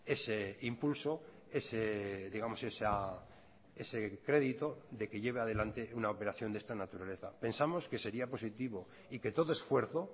ese impulso ese digamos ese crédito de que lleve adelante una operación de esta naturaleza pensamos que sería positivo y que todo esfuerzo